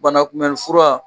Banakunbɛn fura